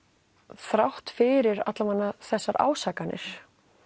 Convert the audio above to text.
þrátt fyrir þessar ásakanir